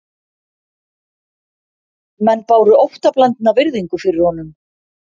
Menn báru óttablandna virðingu fyrir honum